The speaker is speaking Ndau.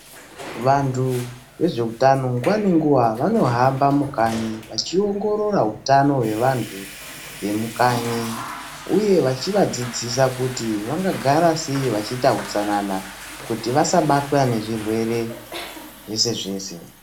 Vantu vezveutano nguva ngenguva vanohamba mukanyi vachiongorora utano hwevantu vemukanyi, uye vachivadzidzisa kuti vangagara sei neutsanana kuti vasabatwa zvirwere zvese zvese.